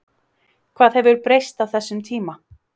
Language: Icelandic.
Hvað hefur breyst á þessum tíma?